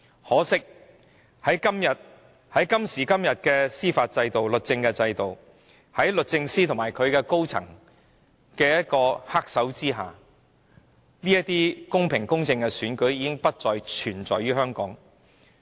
可惜，在今時今日的司法制度下，在律政司司長及律政司高層人員的黑手之下，香港公平公正的選舉已不復存在。